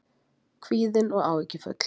Kvíðin og áhyggjufull.